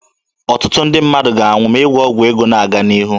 Ọtụtụ ndị mmadụ ga-anwụ ma ịgwọ ọgwụ ego na-aga n'ihu.